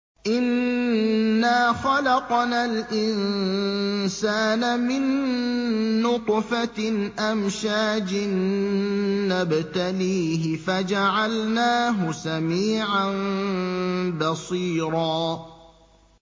إِنَّا خَلَقْنَا الْإِنسَانَ مِن نُّطْفَةٍ أَمْشَاجٍ نَّبْتَلِيهِ فَجَعَلْنَاهُ سَمِيعًا بَصِيرًا